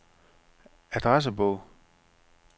adressebog